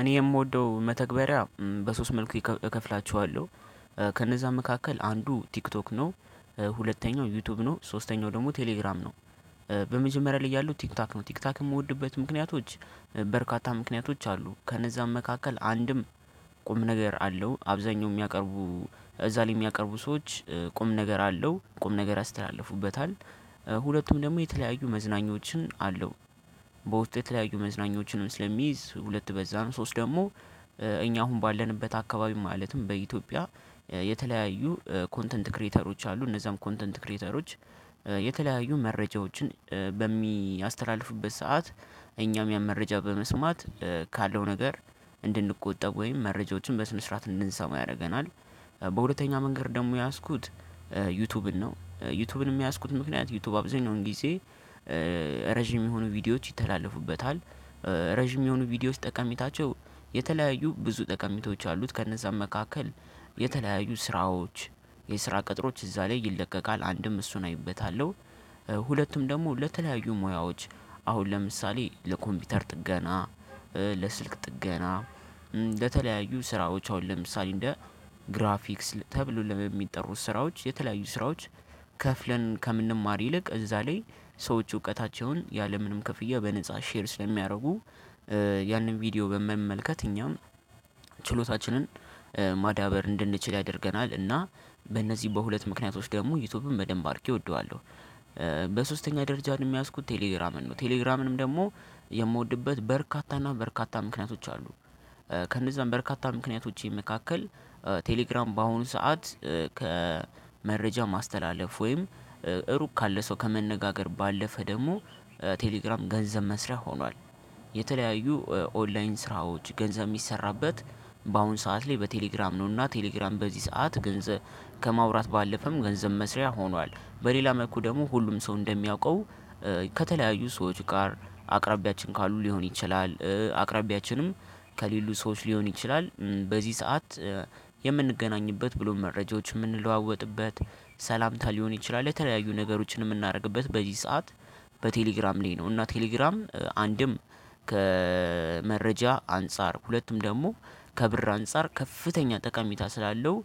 እኔ የምወደው መተግበሪያ በሶስት መልኩ እከፍላቸዋለሁ ከነዛ መካከል አንዱ ቲክቶክ ነው። ሁለተኛው ዩቲዩብ ነው ሶስተኛው ደግሞ ቴሌግራም ነው። በመጀመሪያ ላይ ያሉው ቲክታክ ነው ቲክታክ የምወድበት ምክንያቶች በርካታ ምክንያቶች አሉ። ከነዛም መካከል አንድም ቁም ነገር አለው አብዛኛው የሚያቀርቡ እዛ ላይ የሚያቀርቡ ሰዎች ቁም ነገር አለው ቁም ነገር ያስተላልፉበታል። ሁለቱም ደግሞ የተለያዩ መዝናኞችን አለው። በውስጡ የተለያዩ መዝናኞችንም ስለሚይዝ ሁለት በዛ ነው ሶስት ደግሞ። እኛ አሁን ባለንበት አካባቢ ማለትም በኢትዮጵያ የተለያዩ ኮንተንት ክሬተሮች አሉ። እነዛም ኮንተንት ክሬተሮች የተለያዩ መረጃዎችን በሚያስተላልፉበት ሰዓት እኛም ያን መረጃ በመስማት ካለው ነገር እንድንቆጠብ ወይም መረጃዎችን በስነ ስርዓት እንድንሰማ ያደርገናል። በሁለተኛ መንገድ ደግሞ የያዝኩት ዩቱብን ነው ዩቱብንም የያዝኩት ምክንያት ዩቱብ አብዛኛው ጊዜ ረጅም የሆኑ ቪዲዮዎች ይተላለፉበታል። ረጅም የሆኑ ቪዲዮዎች ጠቀሜታቸው የተለያዩ ብዙ ጠቀሜታዎች አሉት። ከነዛም መካከል የተለያዩ ስራዎች የስራ ቅጥሮች እዛ ላይ ይለቀቃል አንድም እሱን አይበታለሁ። ሁለቱም ደግሞ ለተለያዩ ሙያዎች አሁን ለምሳሌ ለኮምፒውተር ጥገና ለስልክ ጥገና እ ለተለያዩ ስራዎች አሁን ለምሳሌ እንደ ግራፊክስ ተብሎ ለሚጠሩት ስራዎች የተለያዩ ስራዎች ከፍለን ከምንማር ይልቅ እዛ ላይ ሰዎች እውቀታቸውን ያለምንም ክፍያ በነፃ ሼር ስለሚያደርጉ። ያንን ቪዲዮ በመመልከት እኛም ችሎታችንን ማዳበር እንድንችል ያደርገናል እና በእነዚህ በሁለት ምክንያቶች ደግሞ ዩቱብን በደንብ አርጌ እወደዋለሁ። በሶስተኛ ደረጃ ደግሞ የያዝኩት ቴሌግራምን ነው። ቴሌግራምንም ደግሞ የምወድበት በርካታ እና በርካታ ምክንያቶች አሉ። ከነዛም በርካታ ምክንያቶቼ መካከል ቴሌግራም በአሁኑ ሰዓት ከመረጃ ማስተላለፍ ወይም ሩቅ ካለ ሰው ከመነጋገር ባለፈ ደግሞ ቴሌግራም ገንዘብ መስሪያ ሆኗል። የተለያዩ ኦንላይን ስራዎች ገንዘብ የሚሰራበት በአሁን ሰዓት ላይ በቴሌግራም ነውና ቴሌግራም በዚህ ሰዓት ገንዘብ ከማውራት ባለፈም ገንዘብ መስሪያ ሆኗል። በሌላ መልኩ ደግሞ ሁሉም ሰው እንደሚያውቀው ከተለያዩ ሰዎች ጋር አቅራቢያችን ካሉ ሊሆን ይችላል አቅራቢያችንም ከሌሉ ሰዎች ሊሆን ይችላል በዚህ ሰዓት። የምንገናኝበት ብሎም መረጃዎችን የምንለዋወጥበት ሰላምታ ሊሆን ይችላል የተለያዩ ነገሮችን የምናደርግበት በዚህ ሰዓት በቴሌግራም ላይ ነው። እና ቴሌግራም አንድም ከመረጃ አንፃር ሁለቱም ደግሞ ከብር አንፃር ከፍተኛ ጠቀሜታ ስላለው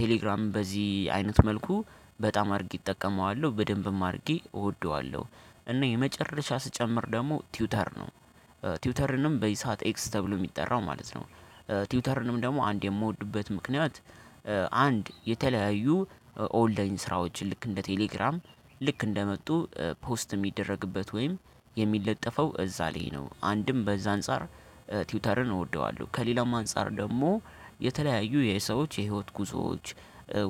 ቴሌግራምን በዚህ አይነት መልኩ በጣም አድርጊ እጠቀመዋለሁ በደንብም አድርጊ እወደዋለሁ። እና የመጨረሻ ስጨምር ደግሞ ትዊተር ነው። ትዊተርንም በዚህ ሰዓት ኤክስ ተብሎ የሚጠራው ማለት ነው። ቲውተርንም ደግሞ አንድ የምወድበት ምክንያት አንድ የተለያዩ ኦንላይን ስራዎች ልክ እንደ ቴሌግራም ልክ እንደመጡ ፖስት የሚደረግበት ወይም የሚለጠፈው እዛ ላይ ነው አንድም በዛ አንፃር። ትዊተርን እወደዋለሁ ከሌላም አንፃር ደግሞ የተለያዩ የሰዎች የህይወት ጉዞዎች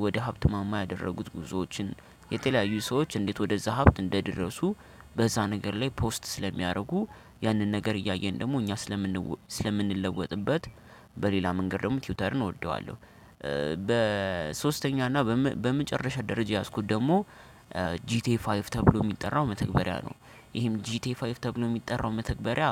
ወደ ሀብት ማማ ያደረጉት ጉዞዎችን የተለያዩ ሰዎች እንዴት ወደዛ ሀብት እንደደረሱ በዛ ነገር ላይ ፖስት ስለሚያደርጉ ያንን ነገር እያየን ደግሞ እኛ ስለምንለወጥበት በሌላ መንገድ ደግሞ ትዊተርን እወደዋለሁ። በሶስተኛ እና በመጨረሻ ደረጃ የያዝኩት ደግሞ ጂቲኤ ፋይቭ ተብሎ የሚጠራው መተግበሪያ ነው። ይሄም ጂቲኤ ፋይቭ ተብሎ የሚጠራው መተግበሪያ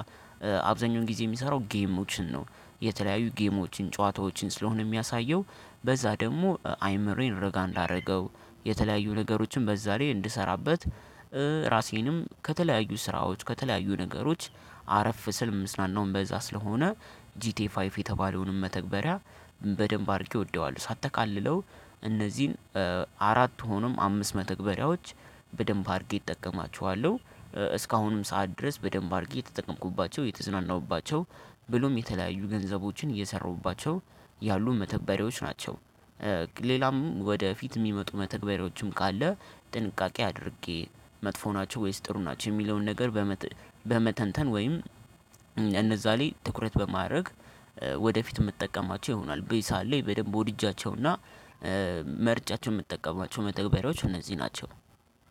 አብዛኛውን ጊዜ የሚሰራው ጌሞችን ነው። የተለያዩ ጌሞችን ጨዋታዎችን ስለሆነ የሚያሳየው በዛ ደግሞ አይምሮዬን ረጋ እንዳደረገው የተለያዩ ነገሮችን በዛ ላይ እንድሰራበት። ራሴንም ከተለያዩ ስራዎች ከተለያዩ ነገሮች አረፍ ስል ምፅናናውም በዛ ስለሆነ ጂቲኤ ፋይቭ የተባለውንም መተግበሪያ በደንብ አድርጌ ወደዋለሁ። ሳጠቃልለው እነዚህን አራት ሆኖም አምስት መተግበሪያዎች በደንብ አድርጌ እጠቀማችኋለሁ እስካሁንም ሰዓት ድረስ በደንብ አድርጌ የተጠቀምኩባቸው የተዝናናሁባቸው ብሎም የተለያዩ ገንዘቦችን እየሰራሁባቸው ያሉ መተግበሪያዎች ናቸው። ሌላም ወደፊት የሚመጡ መተግበሪያዎችም ካለ ጥንቃቄ አድርጌ መጥፎ ናቸው ወይስ ጥሩ ናቸው? የሚለውን ነገር በመተንተን ወይም እነዛ ላይ ትኩረት በማድረግ ወደፊት የምጠቀማቸው ይሆናል። በዚ ሰዓት ላይ በደንብ ወድጃቸውና መርጫቸው የምጠቀማቸው መተግበሪያዎች እነዚህ ናቸው።